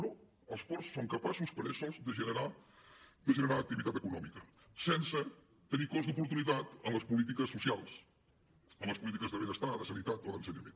però els ports són capaços per ells sols de generar activitat econòmica sense tenir cost d’oportunitat en les polítiques socials en les polítiques de benestar de sanitat o d’ensenyament